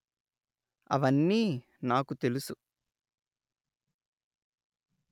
అవన్నీ నాకు తెలుసు